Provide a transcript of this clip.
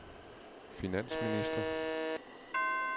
finansminister